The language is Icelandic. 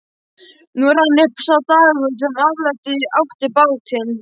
Nú rann upp sá dagur sem afhenda átti bátinn.